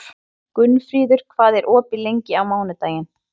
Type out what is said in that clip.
Gunnfríður, hvað er opið lengi á mánudaginn?